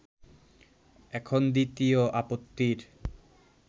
এখন দ্বিতীয় আপত্তির